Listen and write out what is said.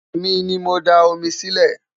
èmi ní mọ dá omi Si ile